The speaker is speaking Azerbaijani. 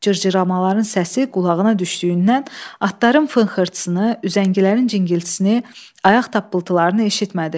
Cırcıramaların səsi qulağına düşdüyündən atların fınxırtısını, üzəngilərin cingiltisini, ayaq tappıltılarını eşitmədi.